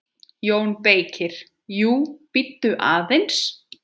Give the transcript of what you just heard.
JÓN BEYKIR: Jú, bíddu aðeins!